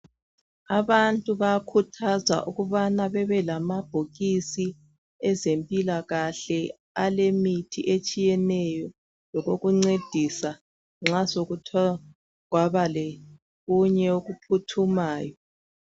Abantu bayakhuthazwa ukuba babe lamabhokisi abezempikakahle. Alemithi eyehlukeneyo. Awokuncedisa uma sekuthe kwaba lokunye okuphuthumayo.